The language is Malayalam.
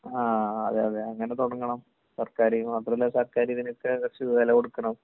ങാ..അതേയതെ. അങ്ങനെ തുടങ്ങണം സർക്കാരീന്ന്. മാത്രമല്ല, സർക്കാരിതിനൊക്കെ കുറച്ചു വെല കൊടുക്കണം.